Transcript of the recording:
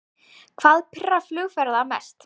Hvað pirrar flugfarþega mest